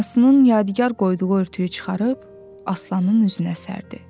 Anasının yadigar qoyduğu örtüyü çıxarıb Aslanın üzünə sərdi.